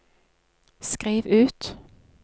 skriv ut